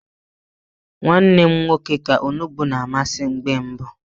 Nwa nne m nwoke ka onugbu na amasị mgbe mbụ.